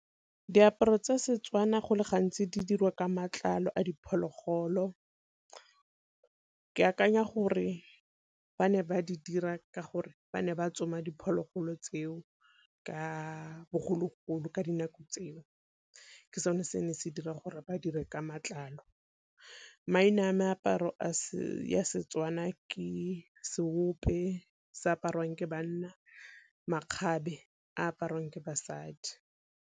Diaparo tsa Setswana go le gantsi di dirwa ka matlalo a diphologolo, ke akanya gore ba ne ba di dira ka gore ba ne ba tsoma diphologolo tseo ka bogologolo ka dinako tseo. Ke sone se ne se dira gore ba dire ka matlalo. Maina a meaparo ya Setswana ke seope se apariwang ke banna, makgabe a apariwang ke basadi.